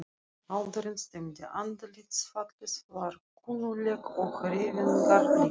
Aldurinn stemmdi, andlitsfallið var kunnuglegt og hreyfingarnar líka.